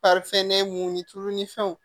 mun ni tulu ni fɛnw